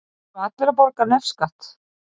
Þurfa allir að borga nefskatt?